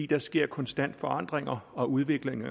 der sker konstant forandring og udvikling